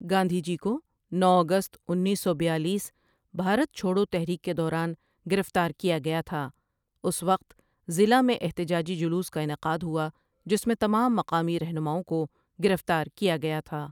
گاندھی جی کو نو اگست انیس سو بیالیس بھارت چھوڑوتحریک کے دوران گرفتار کیا گیا تھا اس وقت ضلع میں احتجاجی جلوس کا انعقاد ہوا جس میں تمام مقامی رہنماؤں کو گرفتار کیا گیا تھا